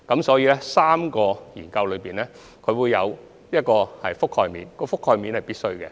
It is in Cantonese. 所以 ，3 項研究會有一個覆蓋面，而該覆蓋面是必須的。